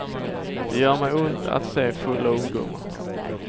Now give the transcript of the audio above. Det gör mig ont att se fulla ungdomar.